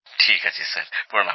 ঠিক আছে স্যার প্রণাম